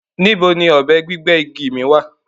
Níbó ni ọbẹ̀ gbigbẹ́ igi mi wà?